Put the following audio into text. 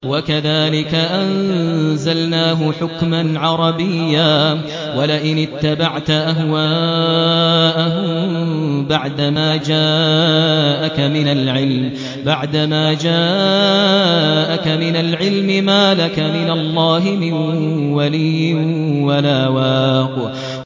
وَكَذَٰلِكَ أَنزَلْنَاهُ حُكْمًا عَرَبِيًّا ۚ وَلَئِنِ اتَّبَعْتَ أَهْوَاءَهُم بَعْدَمَا جَاءَكَ مِنَ الْعِلْمِ مَا لَكَ مِنَ اللَّهِ مِن وَلِيٍّ وَلَا وَاقٍ